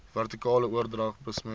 vertikale oordrag besmet